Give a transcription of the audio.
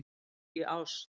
Í ást.